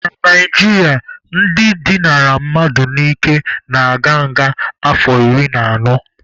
Na Naijiria, ndị dịnara mmadụ n'ike na-aga nga afọ iri na anọ.